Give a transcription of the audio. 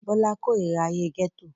Bọ́lá kórira ayé gẹ́tò